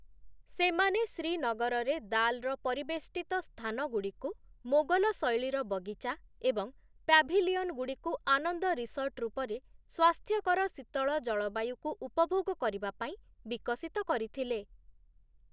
ସେମାନେ ଶ୍ରୀନଗରରେ ଦାଲ୍‌ର ପରିବେଷ୍ଟିତ ସ୍ଥାନଗୁଡ଼ିକୁ ମୋଗଲ-ଶୈଳୀର ବଗିଚା ଏବଂ ପ୍ୟାଭିଲିୟନଗୁଡ଼ିକୁ ଆନନ୍ଦ ରିସର୍ଟ ରୂପରେ ସ୍ୱାସ୍ଥ୍ୟକର ଶୀତଳ ଜଳବାୟୁକୁ ଉପଭୋଗ କରିବା ପାଇଁ ବିକଶିତ କରିଥିଲେ ।